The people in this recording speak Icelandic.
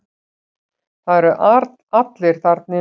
Það eru allir þarna inni.